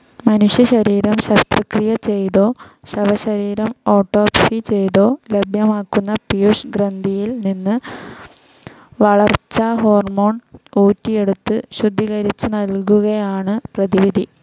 മനുഷ്യ ശരീരം ശസ്ത്രക്രിയ ചെയ്തോ ശവശരീരം ഓട്ടോപ്സി ചെയ്തോ ലഭ്യമാക്കുന്ന പീയൂഷഗ്രന്ഥിയിൽ നിന്ന് വളർച്ചാഹോർമോൺ ഊറ്റിയെടുത്തു ശുദ്ധീകരിച്ചു നൽകുകയാണ് പ്രതിവിധി.